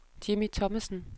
Jimmy Thomassen